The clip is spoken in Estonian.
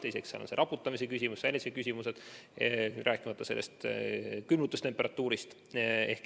Teiseks on see raputamise küsimus ja muud sellised küsimused, rääkimata ülimadalast külmutustemperatuurist.